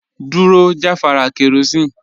Dúró jàfàrà kerosene